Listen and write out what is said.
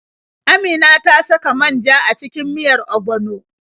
Amina ta saka man ja a cikin miyar ogbono.